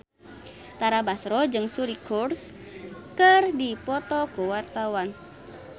Tara Basro jeung Suri Cruise keur dipoto ku wartawan